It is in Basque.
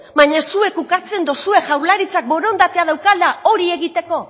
baino zuek ukatzen dozue jaurlaritzak borondatea daukala hori egiteko